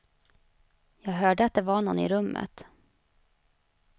Jag hörde att det var någon i rummet.